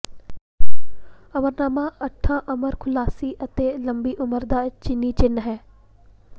ਅਮਰਨਾਮਾ ਅੱਠਾਂ ਅਮਰ ਖੁਸ਼ਹਾਲੀ ਅਤੇ ਲੰਬੀ ਉਮਰ ਦਾ ਚੀਨੀ ਚਿੰਨ੍ਹ ਹੈ